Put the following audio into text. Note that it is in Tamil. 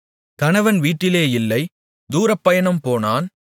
கணவன் வீட்டிலே இல்லை தூரப்பயணம் போனான்